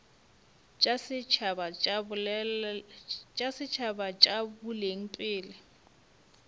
tša setšhaba tša boleng pele